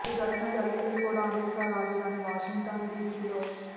ఈ ఘటన జరిగింది కూడా అమెరికా రాజధాని వాషింగ్టన్ డీసీ లో